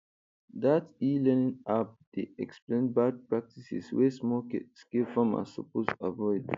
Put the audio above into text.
dat elearning app dey explain bad practices wey smallscale farmers suppose avoid